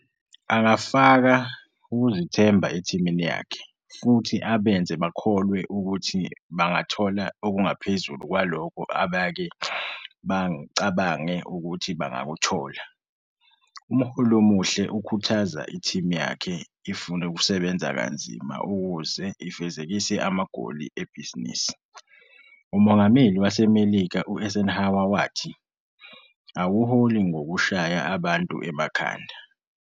Angafaka ukuzithemba ethimini yakhe futhi abenze bakholwe ukuthi bangathola okungaphezulu kwalokho abake bacabange ukuthi bengakuthola. Umholi omuhle ukhuthaza ithimu yakhe ifune ukusebenza kanzima ukuze ifezekise amagoli ebhizinisi. Umongameli waseMelika u-Eisenhower wathi- 'Awuholi ngokushaya abantu emakhanda.